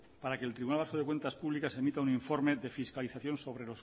para que el tribunal vasco de cuentas públicas emita un informe de fiscalización sobre